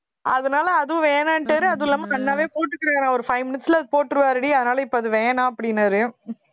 அதனால அதுவும் வேணான்டாரு அதுவும் இல்லாம அண்ணாவே போட்டுக்கிறாரு ஒரு five minutes ல அதை போட்டிருவாருடி அதனால இப்ப அது வேணாம் அப்படின்னாரு